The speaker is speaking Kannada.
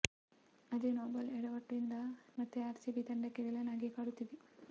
ಅದೇ ನೋಬಾಲ್ ಎಡವಟ್ಟು ಇಂದು ಮತ್ತೆ ಆರ್ಸಿಬಿ ತಂಡಕ್ಕೆ ವಿಲನ್ ಆಗಿ ಕಾಡುತ್ತಿದೆ